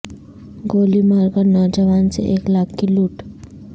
گولی مار کر نوجوان سے ایک لاکھ کی لوٹ